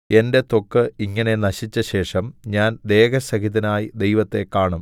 എന്റെ ത്വക്ക് ഇങ്ങനെ നശിച്ചശേഷം ഞാൻ ദേഹസഹിതനായി ദൈവത്തെ കാണും